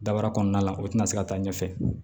Dabara kɔnɔna la o tɛna se ka taa ɲɛfɛ